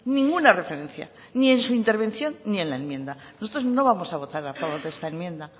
ninguna referencia ni en su intervención ni en la enmienda nosotros no vamos a votar a favor de esta enmienda